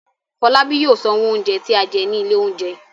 Fọlábí yóò sanwó oúnjẹ tí a jẹ ní ilé-oúnjẹ.